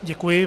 Děkuji.